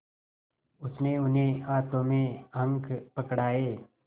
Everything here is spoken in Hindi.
उसने उन्हें हाथों में अंक पकड़ाए